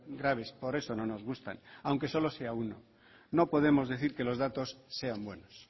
graves por eso no nos gustan aunque solo sea uno no podemos decir que los datos sean buenos